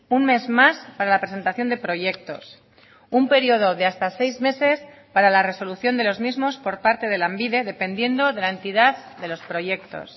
un mes más para la presentación de proyectos un periodo de hasta seis meses para la resolución de los mismos por parte de lanbide dependiendo de la entidad de los proyectos